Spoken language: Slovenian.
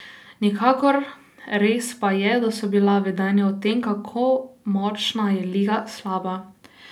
Nikakor, res pa je, da so bila vedenja o tem, kako močna je liga, slaba.